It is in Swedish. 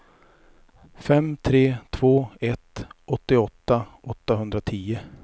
fem tre två ett åttioåtta åttahundratio